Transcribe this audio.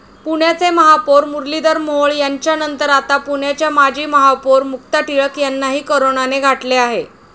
पुण्याचे महापौर मुरलधीर मोहोळ यांच्यानंतर आता पुण्याच्या माजी महापौर मुक्ता टिळक यांनाही करोनाने गाठले आहे.